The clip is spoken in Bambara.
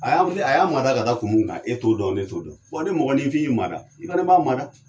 A y'a a y'a maada ka da kun mun kan e t'o dɔn ne t'o dɔn, ni mɔgɔninfing i maada i fɛnɛ b'a maada.